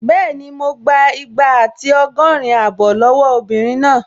Bẹ́ẹ̀ni, mo gbà igba àti ọgọ́rin abọ́ lọ́wọ́ obìnrin náà